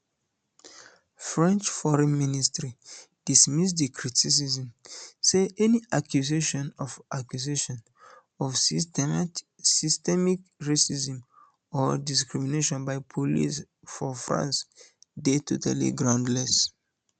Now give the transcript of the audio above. french foreign ministry dismiss di criticism say any accusation of accusation of systemic racism or discrimination by police for france dey totally groundless